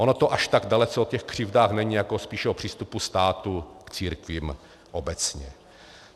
Ono to až tak dalece o těch křivdách není, jako spíše o přístupu státu k církvím obecně.